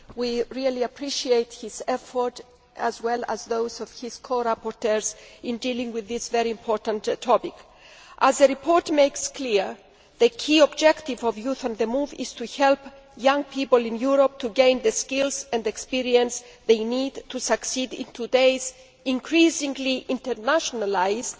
We really appreciate his efforts, as well as those of his co rapporteurs, in dealing with this very important topic. As the report makes clear, the key objective of Youth on the Move is to help young people in Europe to gain the skills and experience they need to succeed in today's increasingly internationalised